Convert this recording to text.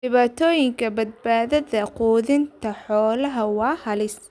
Dhibaatooyinka badbaadada quudinta xoolaha waa halis.